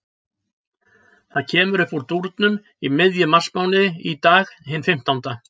Það kemur uppúr dúrnum í miðjum marsmánuði, í dag, hinn fimmtánda.